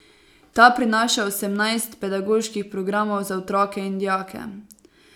Ta prinaša osemnajst pedagoških programov za otroke in dijake.